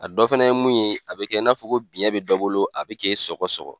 A dɔ fɛnɛ ye mun ye a bɛ kɛ i n'a fɔ ko biyɛn bɛ dɔ bolo a bɛ k'e sɔgɔ sɔgɔ.